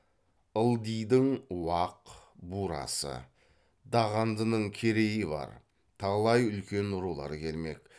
ылдидың уақ бурасы дағандының керейі бар талай үлкен рулар келмек